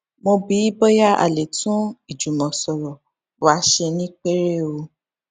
mo bi í bóyá a lè tún ìjùmòsòrò wa ṣe ní pẹrẹu